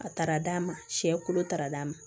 A taara d'a ma sɛ kolo taara d'a ma